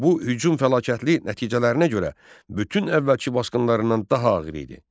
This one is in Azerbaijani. Bu hücum fəlakətli nəticələrinə görə bütün əvvəlki basqınlarından daha ağır idi.